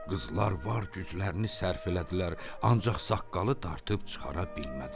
Qızlar var güclərini sərf elədilər, ancaq saqqalı dartıb çıxara bilmədilər.